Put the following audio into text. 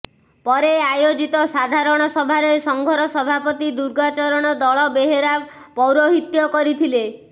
ପରେ ଆୟୋଜିତ ସାଧାରଣ ସଭାରେ ସଂଘର ସଭାପତି ଦୁର୍ଗାଚରଣ ଦଳବେହେରା ପୈରାହିତ୍ୟ କରିଥିଲେ